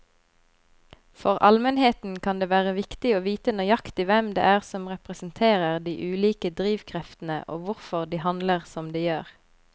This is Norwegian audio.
For allmennheten kan det være viktig å vite nøyaktig hvem det er som representerer de ulike drivkreftene og hvorfor de handler som de gjør.